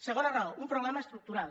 segona raó un problema estructural